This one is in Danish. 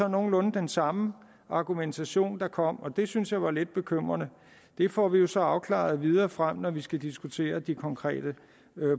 nogenlunde den samme argumentation der kom og det synes jeg er lidt bekymrende det får vi jo så afklaret videre frem når vi skal diskutere de konkrete